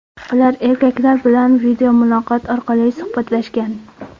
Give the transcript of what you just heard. Ular erkaklar bilan videomuloqot orqali suhbatlashgan.